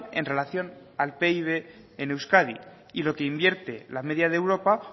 en relación al pib en euskadi y lo que invierte la media de europa